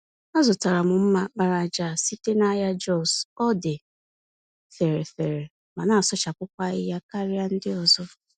Azụtara mma àkpàràjà a site nahịa Jos, ọdị fèrè-fèrè ma nasụchapụkwa ahịhịa karịa ndị ọzọ.